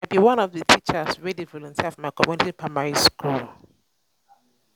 i be one of the teachers wey dey volunteer for my community primary school.